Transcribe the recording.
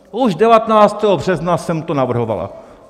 Už 19. března jsem to navrhovala...